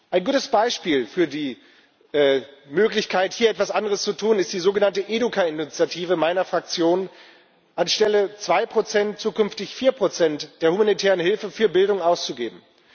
Ein gutes Beispiel für die Möglichkeit, hier etwas anderes zu tun, ist die sogenannte EdUKaid Initiative meiner Fraktion anstelle zwei Prozent zukünftig vier Prozent der humanitären Hilfe für Bildung auszugeben.